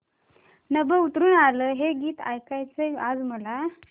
नभं उतरू आलं हे गीत ऐकायचंय आज मला